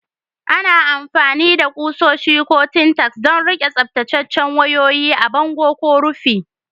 Ana amfani da kusoshi ko Tintacks don riƙe tsaftataccen wayoyi a bango ko rufi.